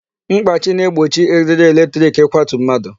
Mkpachi na-egbochi eriri electric ịkwatu mmadụ.